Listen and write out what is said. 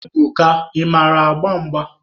Ebuka, ị mara agba mgba?